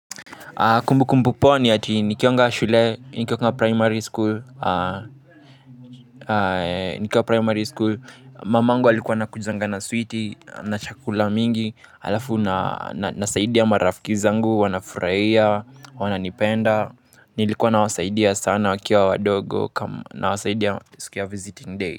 Kumbu kumbu pao ni ati nikiwanga shule, nikiwa primary school. Nikiwa primary school, mamangu alikuwa anakujanga na switi, na chakula mingi halafu nasaidi marafiki zangu, wanafurahia, wananipenda. Nilikuwa nawasaidia sana wakiwa wadogo, nawasaidia siku ya visiting day.